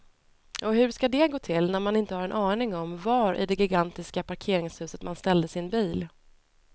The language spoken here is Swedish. Och hur ska det gå till när man inte har en aning om var i det gigantiska parkeringshuset man ställde sin bil.